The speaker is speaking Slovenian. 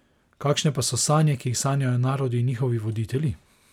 Kakšne pa so sanje, ki jih sanjajo narodi in njihovi voditelji?